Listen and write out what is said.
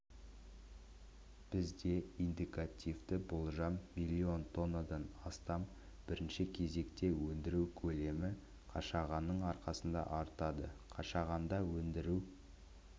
бізде индикативті болжам миллион тоннадан астам бірінші кезекте өндіру көлемі қашағанның арқасында артады қашағанда өндіру